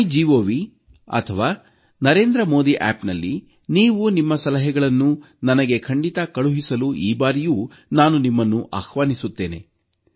ಮೈಗೌನಲ್ಲಿ ಅಥವಾ ನರೇಂದ್ರ ಮೋದಿ ಆಪ್ನಲ್ಲಿ ನೀವು ನಿಮ್ಮ ಸಲಹೆಗಳನ್ನು ನನಗೆ ಖಂಡಿತಾ ಕಳುಹಿಸಲು ಈ ಬಾರಿಯೂ ಆಹ್ವಾನಿಸುತ್ತೇನೆ